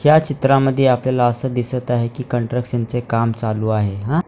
या चित्रामध्ये आपल्याला असं दिसत आहे की कंट्रक्शन चे काम चालू आहे हा --